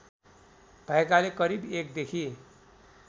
भएकाले करिब १ देखि